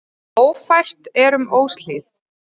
Ófært er um Óshlíð.